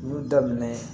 N y'u daminɛ